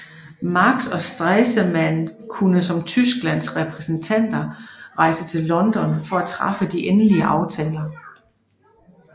Marx og Stresemann kunne som Tysklands repræsentanter rejse til London for at træffe de endelige aftaler